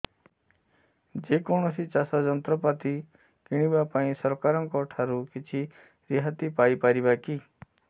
ଯେ କୌଣସି ଚାଷ ଯନ୍ତ୍ରପାତି କିଣିବା ପାଇଁ ସରକାରଙ୍କ ଠାରୁ କିଛି ରିହାତି ପାଇ ପାରିବା କି